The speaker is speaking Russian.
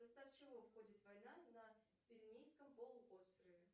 в состав чего входит война на пиренейском полуострове